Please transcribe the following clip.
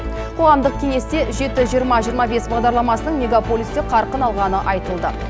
қоғамдық кеңесте жеті жиырма жиырма бес бағдарламасының мегаполисте қарқын алғаны айтылды